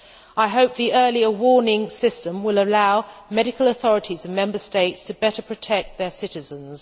I hope the earlier warning system will allow medical authorities in Member States to better protect their citizens.